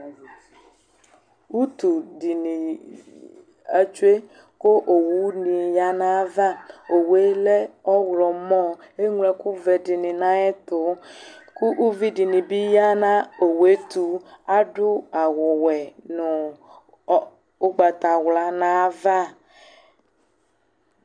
Utuɗini atsoe ku owuni ya nayava, owue lɛ ɔwlɔmɔ, eŋlo ɛkuvɛ ɗini nayɛtu ku uviɗini bi ya nu owuetu, ạdu awuwɛ nu ugbatawla nayava